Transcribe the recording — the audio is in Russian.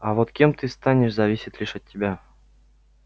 а вот кем ты станешь зависит лишь от тебя